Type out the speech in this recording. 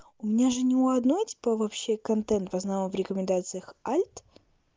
у меня же ни у одной типа вообще контент в основном в рекомендациях альт